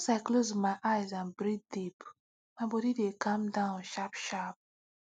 once i close my eyes and breathe deep my body dey calm down sharp sharp